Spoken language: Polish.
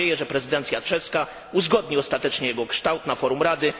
Mam nadzieję, że prezydencja czeska uzgodni ostatecznie jego kształt na forum Rady